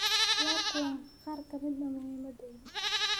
Waa kuwan qaar ka mid ah muhimadooda: